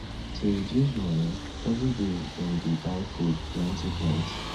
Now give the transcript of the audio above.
to reduce money every day dem dey buy food plenty plenty